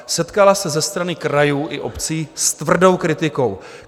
Setkala se ze strany krajů i obcí s tvrdou kritikou.